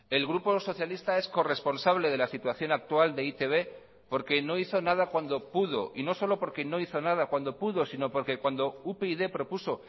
el grupo socialista es corresponsable de la situación actual de e i te be porque no hizo nada cuando pudo y no solo porque no hizo nada cuando pudo sino porque cuando upyd propuso